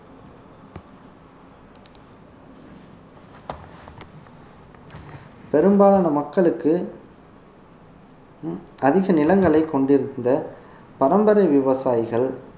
பெரும்பாலான மக்களுக்கு உம் அதிக நிலங்களைக் கொண்டிருந்த பரம்பரை விவசாயிகள்